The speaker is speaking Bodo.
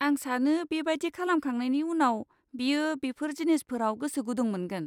आं सानो बेबादि खालामखांनायनि उनाव, बियो बेफोर जिनिसफोराव गोसोगुदुं मोनगोन।